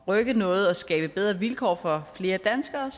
rykke noget og skabe bedre vilkår for flere danskere